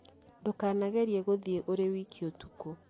Ndũkanagerie gũthiĩ ũrĩ wiki ũtũkũ